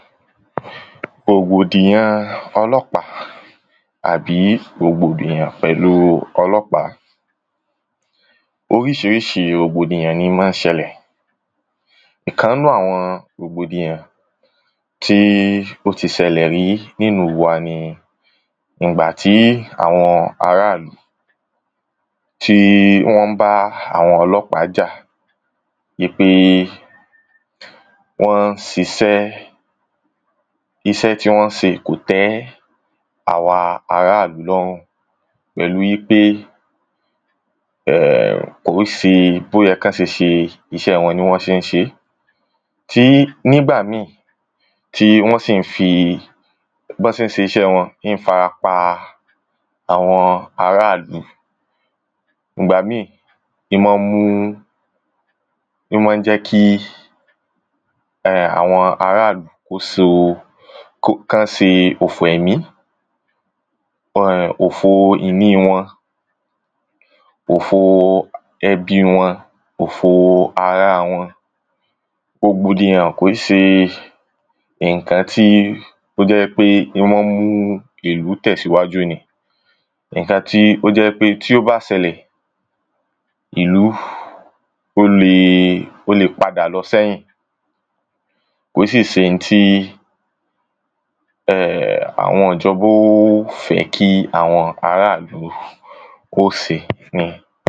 rògbòdìyan ọlọ́pàá tàbí rògbòdìyan pẹ̀lúu ọlọ́pàá oríṣiríṣi rògbòdìyan ni máa ń ṣẹlẹ̀ ìkan ń nú àwọn rògbòdìyan tí ó ti sẹlẹ̀ rí nílùú wa ni, ngbàtí àwọn ara ìlú tí wọ́n ń bá àwọn ọlọ́pàá jà í pé wọ́n sisẹ́, isẹ́ tí wọ́n ń se kò tẹ́ àwa ara ìlú lọ́rùn. pẹ̀lúu í pé kò í se bó yẹ̀ kán se ṣe isẹ́ wọn ni wọ́n se ń se é. tí nígbà míì tí wọ́n sì ń fi bọ́n ṣe ń ṣisẹ́ wọn ń farapa àwọn ara ìlú ìgbá míì, ń máa mú, ń máa jẹ́ kí àwọn ara ìlú kó so, kán sè òfò ẹ̀mí ofòo ìní wọn, ofòo ẹbí wọn, ofòo ará wọn rògbòdìyan kò í se ǹkan tí ó jẹ́ í pé yó máa ń mú ìlú tẹ̀síwájú ni ǹkan tí ó jẹ́ í pé tí ó bá sẹlẹ̀, ìlú ó le, ó le padà lọ sẹ́yìn kò í sì se ihun tí àwọn ìjọba ó fẹ́ kí àwọn ara ìlú kó se